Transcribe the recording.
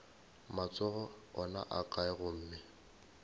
matsogo ona a kae gomme